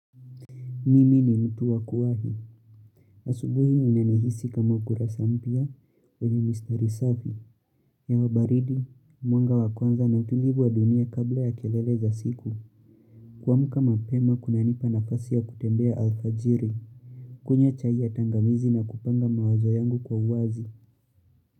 Mimi ni mtu wakuwahi. Asubuhi ninanihisi kama ukurasa mpya. We ni Mr. Risavi. Hewa baridi, mwanga wa kwanza na utulivu wa dunia kabla ya kelele za siku. Kuamka mapema kunanipa nafasi ya kutembea alfajiri. Kunywa chai ya tangawizi na kupanga mawazo yangu kwa uwazi.